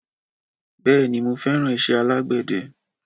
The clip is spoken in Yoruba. Bèéní, mo feran ise alàgbéde